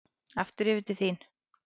Aftur yfir til þín.